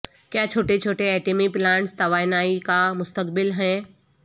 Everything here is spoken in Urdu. کیا چھوٹے چھوٹے ایٹمی پلانٹس توانائی کا مستقبل ہیں